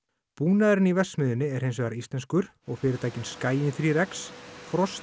búnaðurinn í verksmiðjunni er hins vegar íslenskur og fyrirtækin Skaginn þrjú x frost